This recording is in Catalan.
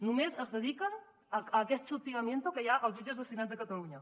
només es dediquen a aquest hostigamiento que hi ha als jut·ges destinats a catalunya